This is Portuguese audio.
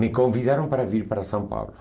Me convidaram para vir para São Paulo.